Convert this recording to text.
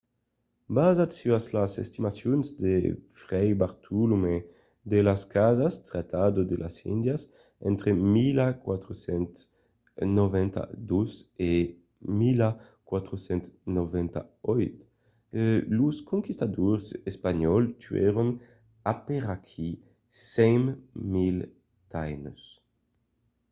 basat sus las estimacions de fray bartolomé de las casas tratado de las indias entre 1492 e 1498 los conquistadors espanhòls tuèron aperaquí 100.000 taínos